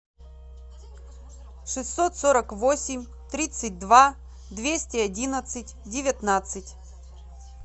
шестьсот сорок восемь тридцать два двести одиннадцать девятнадцать